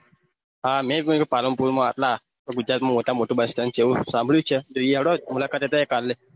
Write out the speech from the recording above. મેં એક પાલનપુર માં આટલા ગુજરાત માં મોટા માં મોટું bus satnd એવું સાંભળું છે ઈ હેડો મુલાકાત લઈએ કાલે